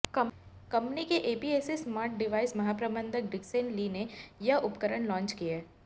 company के APAC smart device महाप्रबंधक Dixon Lee ने ये उपकरण लांच किए